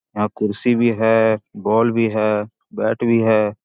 यहां कुर्सी भी है बॉल भी है बैट भी है।